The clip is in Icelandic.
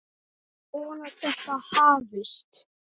Ég vona að þetta hafist.